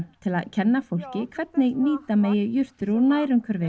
til að kenna fólki hvernig nýta megi jurtir úr nærumhverfinu